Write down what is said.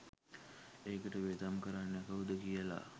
ඒකට වියදම් කරන්නේ කවුද කියල